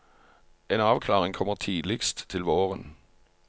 En avklaring kommer tidligst til våren.